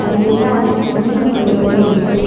இது எல்லாமே கிரீன் கலர்ல இருக்கு.